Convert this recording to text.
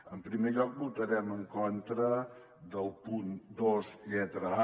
en primer lloc votarem en contra del punt dos lletra a